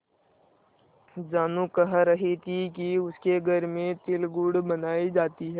जानू कह रही थी कि उसके घर में तिलगुड़ बनायी जाती है